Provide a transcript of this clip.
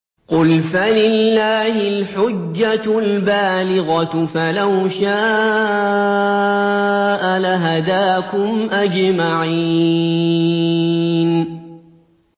قُلْ فَلِلَّهِ الْحُجَّةُ الْبَالِغَةُ ۖ فَلَوْ شَاءَ لَهَدَاكُمْ أَجْمَعِينَ